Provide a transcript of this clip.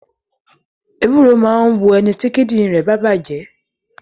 Ewúro máa ń wo ẹniti kíndìnrín bá bàjé